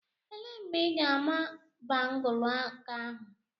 Elee mgbe ị ga-ama bangụlu aka ahụ?